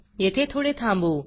येथे थोडे थांबू